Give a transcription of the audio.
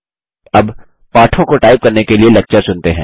अब पाठों को टाइप करने के लिए लेक्चर चुनते हैं